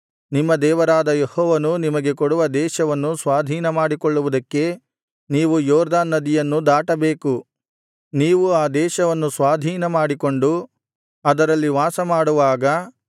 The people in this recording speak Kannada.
ನಿಮ್ಮ ದೇವರಾದ ಯೆಹೋವನು ನಿಮಗೆ ಕೊಡುವ ದೇಶವನ್ನು ಸ್ವಾಧೀನ ಮಾಡಿಕೊಳ್ಳುವುದಕ್ಕೆ ನೀವು ಯೊರ್ದನ್ ನದಿಯನ್ನು ದಾಟಬೇಕು ನೀವು ಆ ದೇಶವನ್ನು ಸ್ವಾಧೀನಮಾಡಿಕೊಂಡು ಅದರಲ್ಲಿ ವಾಸಮಾಡುವಾಗ